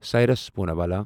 Cyrus Poonawalla